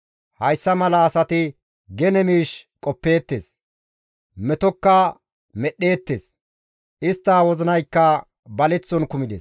Hayssa mala asati gene miish qoppeettes; metokka medhdheettes; istta wozinaykka baleththon kumides.»